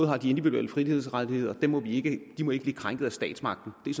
har de individuelle frihedsrettigheder som må blive krænket af statsmagten det er